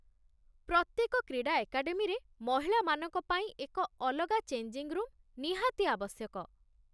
ପ୍ରତ୍ୟେକ କ୍ରୀଡା ଏକାଡେମୀରେ ମହିଳାମାନଙ୍କ ପାଇଁ ଏକ ଅଲଗା ଚେଞ୍ଜିଙ୍ଗ୍ ରୁମ୍ ନିହାତି ଆବଶ୍ୟକ।